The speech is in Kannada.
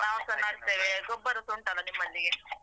ನಾವ್ಸಾ ನೆಡ್ತೇವೆ ಗೊಬ್ಬರಸ ಉಂಟಲ್ಲ ನಿಮ್ಮಲ್ಲಿಯೇ